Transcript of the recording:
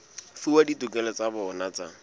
fuwa ditokelo tsa bona tsa